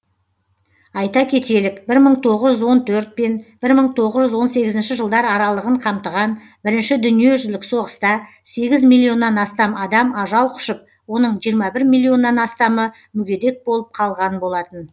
айта кетелік бір мың тоғыз жүз он төрт пен бір мың тоғыз жүз он сегізінші жылдар аралығын қамтыған бірінші дүниежүзілік соғыста сегіз миллионнан астам адам ажал құшып оның жиырма бір милионнан астамы мүгедек болып қалған болатын